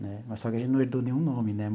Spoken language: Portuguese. Né mas só que a gente não herdou nenhum nome, né?